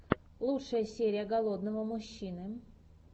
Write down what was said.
лучшая серия голодного мужчины